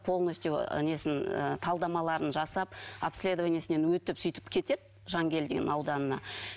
полностью ы несін ы талдамаларын жасап обследованиесінен өтіп сөйтіп кетеді жангелдин ауданына